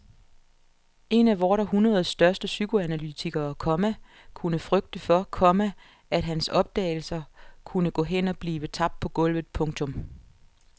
En af vort århundredes største psykoanalytikere, komma kunne frygte for, komma at hans opdagelser kunne gå hen og blive tabt på gulvet. punktum